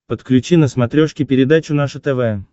подключи на смотрешке передачу наше тв